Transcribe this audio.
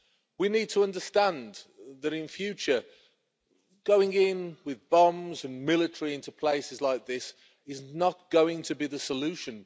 We need to understand that, in future, going in with bombs and military into places like this is not going to be the solution.